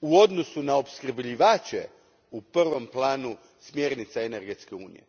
u odnosu na opskrbljivače u prvom planu smjernica energetske unije.